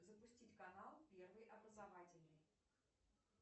запустить канал первый образовательный